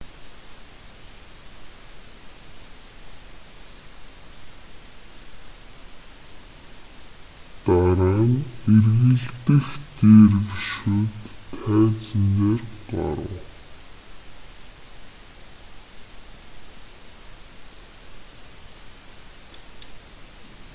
дараа нь эргэлдэх дервишүүд тайзан дээр гарав